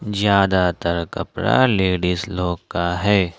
ज्यादातर कपड़ा लेडिस लोग का है।